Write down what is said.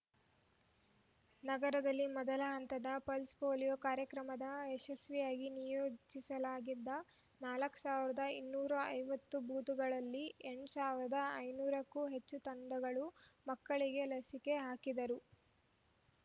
ನಗರದಲ್ಲಿ ಮೊದಲ ಹಂತದ ಪಲ್ಸ್ ಪೋಲಿಯೋ ಕಾರ್ಯಕ್ರಮದ ಯಶಸ್ವಿಗಾಗಿ ನಿಯೋಜಿಸಲಾಗಿದ್ದ ನಾಲ್ಕ ಸಾವಿರದ ಇನ್ನೂರ ಐವತ್ತು ಬೂತ್‌ಗಳಲ್ಲಿ ಎಂಟು ಸಾವಿರದ ಐನೂರಕ್ಕೂ ಹೆಚ್ಚು ತಂಡಗಳು ಮಕ್ಕಳಿಗೆ ಲಸಿಕೆ ಹಾಕಿದರು